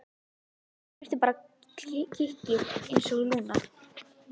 Hún þurfti bara kikkið einsog Lúna.